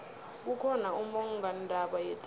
kukhona ummongondaba yethando